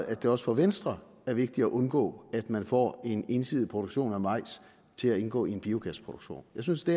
at det også for venstre er vigtigt at undgå at man får en ensidig produktion af majs til at indgå i en biogasproduktion jeg synes det